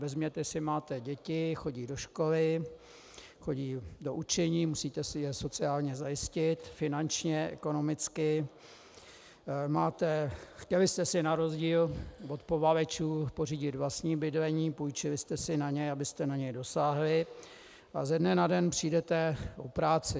Vezměte si: máte děti, chodí do školy, chodí do učení, musíte si je sociálně zajistit, finančně, ekonomicky, chtěli jste si na rozdíl od povalečů pořídit vlastní bydlení, půjčili jste si na ně, abyste na ně dosáhli, a ze dne na den přijdete o práci.